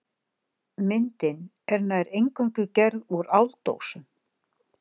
Myndin er nær eingöngu gerð úr áldósum.